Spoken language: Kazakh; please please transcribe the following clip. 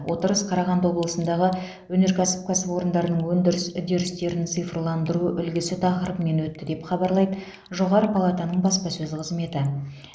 отырыс қарағанды облысындағы өнеркәсіп кәсіпорындарының өндіріс үдерістерін цифрландыру үлгісі тақырыбымен өтті деп хабарлайды жоғары палатаның баспасөз қызметі